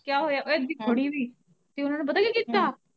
ਕਿਆਂ ਹੋਇਆ ਓ ਏਦਾ ਖੜੀ ਵੀ ਤੇ ਉਨਾਂ ਨੇ ਪਤਾ ਕੀ ਕੀਤਾ।